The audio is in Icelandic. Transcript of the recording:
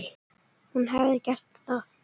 Hún hefði gert það.